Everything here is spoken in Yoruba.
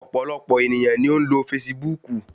Ọ̀pọ̀lọpọ̀ ènìyàn ni ó ń lo fasibúùkù